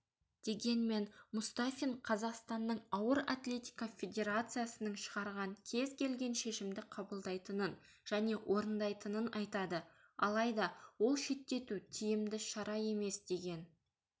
дегенмен мұстафин қазақстанның ауыр атлетика федерациясының шығарған кез келген шешімді қабылдайтынын және орындайтынын айтады алайда ол шеттету тиімді шара емес деген